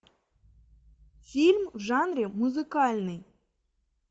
фильм в жанре музыкальный